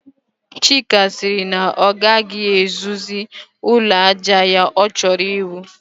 Chika sịrị na ọ gaghị ewuzi ụlọ àjà ọ chọrọ iwu